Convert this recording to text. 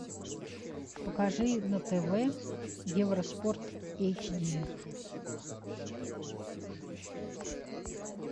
покажи на тв евроспорт эйч ди